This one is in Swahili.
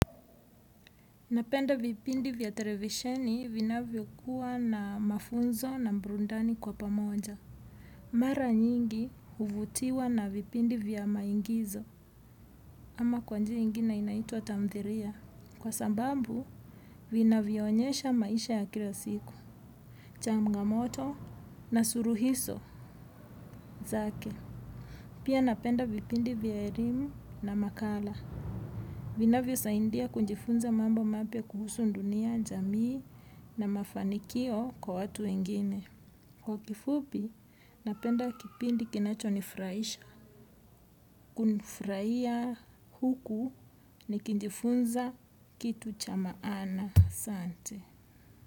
Napenda vipindi vya televisheni vinavyo kuwa na mafunzo na burudani kwa pamoja. Mara nyingi huvutiwa na vipindi vya maingizo ama kwa njia ingine inaitwa tamthilia. Kwa sababu vinavyo onyesha maisha ya kila siku, changamoto na suluhisho zake. Pia napenda vipindi vya elimu na makala. Vinavyo saidia kujifunza mambo mapya kuhusu dunia, jamii na mafanikio kwa watu wengine. Kwa kifupi, napenda kipindi kinacho nifurahisha. Kunifurahia huku nikijifunza kitu cha maana. Asante.